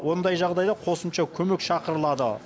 ондай жағдайда қосымша көмек шақырылады